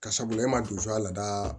Ka sabula e ma don a la lada